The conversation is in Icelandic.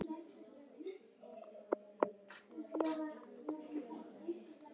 Hann stundi og nuddaði sér við sængina.